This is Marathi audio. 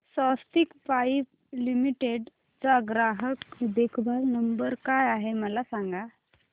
स्वस्तिक पाइप लिमिटेड चा ग्राहक देखभाल नंबर काय आहे मला सांगा